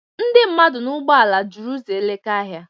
Ndị mmadụ na ụgbọala jụrụ uzọ Elekahịa.